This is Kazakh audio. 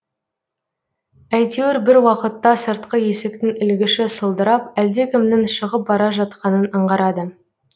әйтеуір бір уақытта сыртқы есіктің ілгіші сылдырап әлдекімнің шығып бара жатқанын анғарады